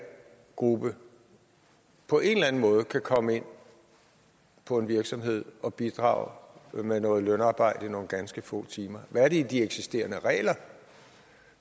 gruppe på en eller anden måde kan komme ind på en virksomhed og bidrage med noget lønarbejde i nogle ganske få timer hvad er det i de eksisterende regler